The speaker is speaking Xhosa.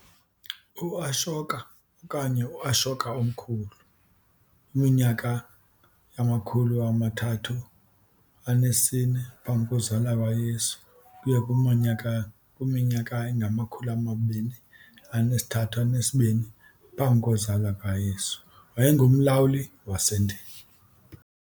UAshoka okanye UAshoka Omkhulu, 304 BCE ukuya ku-232 BCE, wayengumlawuli waseNdiya.